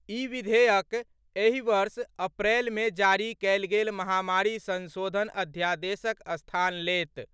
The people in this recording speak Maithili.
ई विधेयक एहि वर्ष अप्रैल में जारी कएल गेल महामारी संशोधन अध्यादेशक स्थान लेत।